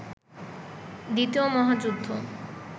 দ্বিতীয় মহাযুদ্ধ